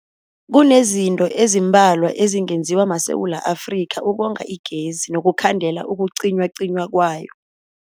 Kunezinto ezimbalwa ezingenziwa maSewula Afrika ukonga igezi nokukhandela ukucinywacinywa kwayo.